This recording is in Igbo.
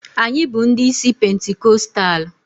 Anyị bụ ndị isi pentikọstal.